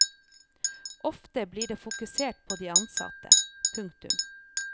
Ofte blir det fokusert på de ansatte. punktum